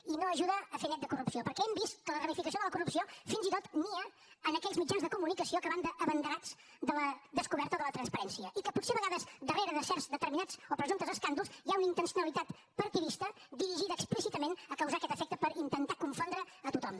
i no ajuda a fer net de corrupció perquè hem vist que la ramificació de la corrupció fins i tot nia en aquells mitjans de comunicació que van d’abanderats de la descoberta de la transparència i que potser a vegades darrere de certs determinats o presumptes escàndols hi ha una intencionalitat partidista dirigida explícitament a causar aquest efecte per intentar confondre a tothom